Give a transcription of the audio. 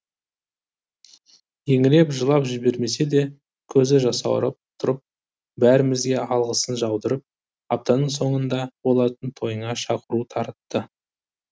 еңіреп жылап жібермесе де көзі жасауырап тұрып бәрімізге алғысын жаудырып аптаның соңында болатын тойына шақыру таратты